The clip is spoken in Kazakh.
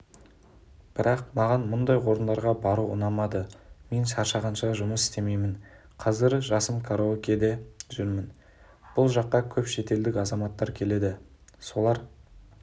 бірақ маған мұндай орындарға бару ұнамады мен шаршағанша жұмыс істемеймін қазір жасым караокеде жүрмін бұл жаққа көп шетелдік азаматтар келеді солар